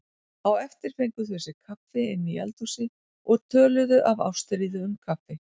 Á eftir fengu þau sér kaffi inni í eldhúsi og töluðu af ástríðu um kaffi.